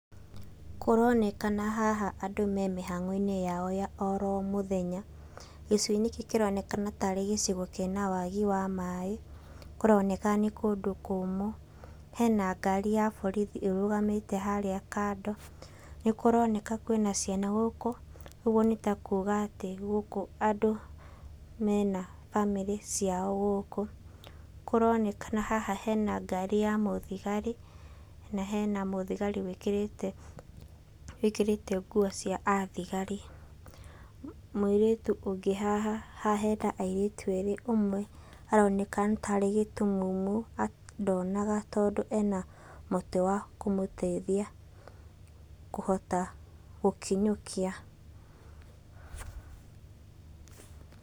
Kũronekana haha andũ me mĩhang'o-inĩ yao ya oro mũthenya gĩcigo gĩkĩ kĩronekana tarĩ gĩcigo kĩna wagi wa maĩ, kũroneka nĩ kũndũ kũmũ. Hena ngari ya borithi ĩrũgamĩte harĩa kando, nĩkúroneka kwĩna ciana gũkũ ũguo nĩtakuga atĩ gũkũ andũ mena bamĩrĩ ciao gũkũ, kũronekana haha hena ngari ya mũthigari na hena mũthigari wĩkĩrĩte wíkĩrĩte nguo cia athigari, mũirĩtu ũngĩ haha haha hena airĩtu erĩ ũmwe aroneka nĩtarĩ gĩtumumu ndonaga tondũ ena mũtĩ wa kũmũteithia kũhota gũkinyũkia